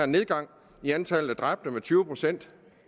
nedgang i antallet af dræbte med tyve procent